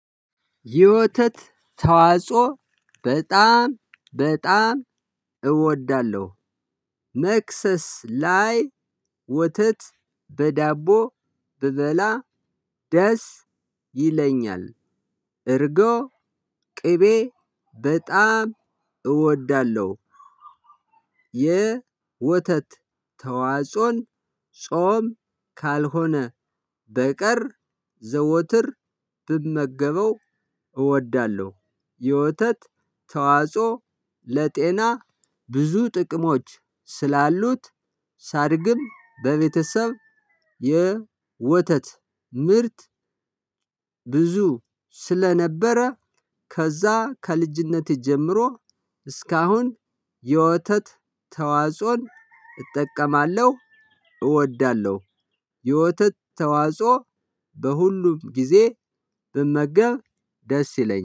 የወተት ተዋጽዎ በጣም በጣም እወዳለሁ። መክሰስ ላይ ወተት በዳቦ ብበላ ደስ ይለኛል። እርጎ ቅቤ በጣም እወዳለሁ። የወተት ተዋጽዎን ጾም ካልሆነ በቀር ዘወትር ብመገበው እወዳለሁ። የወተት ተዋጽዎ ለጤና ብዙ ጥቅሞች ስላሉት ሳድግም በቤተሰብ የወተት ምርት። ብዙ ስለነበረ ከዛ ከልጅነቴ ጀምሮ እስካሁን የወተት ተዋጽዎን እጠቀማለሁ እወዳለሁ። የወተት ተዋጽዎ በሁሉም ጊዜ ብመገብ ደስ ይለኛል